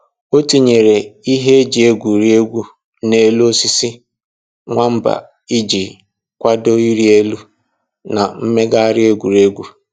O tinyere ihe eji egwuri egwu n'elu osisi nwamba iji kwado ịrị elu na mmegharị egwuregwu